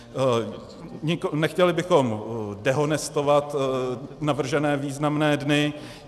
Nechtěli bychom dehonestovat navržené významné dny.